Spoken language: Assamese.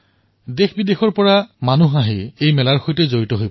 দেশ আৰু বিশ্বৰ বিভিন্ন লোক আহি কুম্ভৰ সৈতে জড়িত হয়